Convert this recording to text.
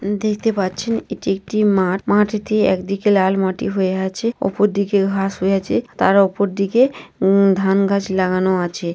দেখতে পাচ্ছেন এটি একটি মাঠ। মাটিটি এক দিকে লাল মাটি হয়ে আছে। অপরদিকে ঘাস হয়ে আছে। তার ওপর দিকে উ ধান গাছ লাগানো আছে।